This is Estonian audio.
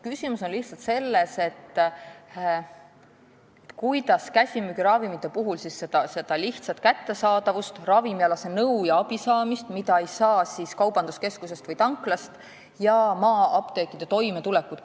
Küsimus on lihtsalt selles, kuidas tasakaalustada omavahel käsimüügiravimite lihtsat kättesaadavust, nõu ja abi, mida ei saa kaubanduskeskusest või tanklast, ja maa-apteekide toimetulekut.